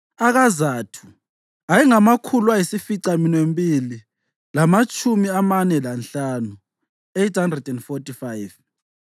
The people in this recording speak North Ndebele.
akaZathu ayengamakhulu ayisificaminwembili lamatshumi amane lanhlanu (845),